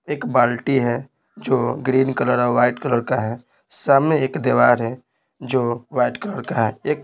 एक बाल्टी है जो ग्रीन कलर और वाइट कलर का है सामने एक दीवार है जो वाइट कलर का है एक --